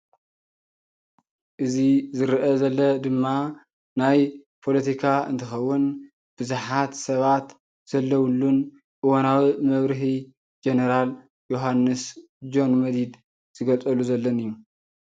እዚ ዝርአ ዘሎ ድማ ናይ ፖሎቲካ እንትኸውን ብዙሓት ሰባት ዘለውሉን እዋናዊ መብርሂ ጀነራል ዮሃንስ (ጆን መዲድ)ዝገልፀሉ ዘሎን እዩ::